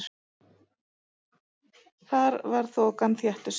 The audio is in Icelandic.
Þar var þokan þéttust.